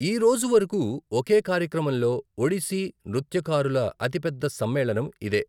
ఈ రోజువరకు, ఒకే కార్యక్రమంలో ఒడిస్సీ నృత్యకారుల అతిపెద్ద సమ్మేళనం ఇదే .